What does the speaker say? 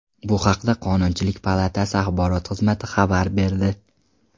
Bu haqda Qonunchilik palatasi axborot xizmati xabar berdi .